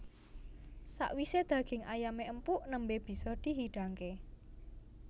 Sakwise daging ayamé empuk nembé bisa di hidangké